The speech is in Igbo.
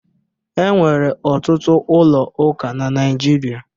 E nwere ọtụtụ ụlọ ụka na Naịjirịa